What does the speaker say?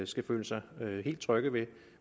skal føle sig helt trygge